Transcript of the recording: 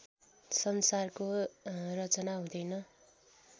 संसारको रचना हुँदैन